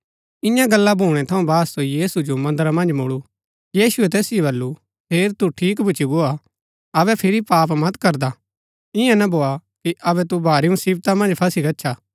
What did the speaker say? ईयां गला भूणै थऊँ बाद सो यीशु जो मन्दरा मन्ज मुलू यीशुऐ तैसिओ बल्लू हेर तू ठीक भूच्ची गो हा अबै फिरी पाप मत करदा ईयां ना भोआ कि अबै तू भारी मुसिवता मन्ज फसी गच्छा